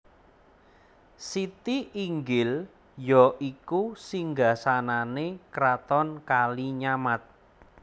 Siti Inggil ya iku Singgasanane Kraton Kalinyamat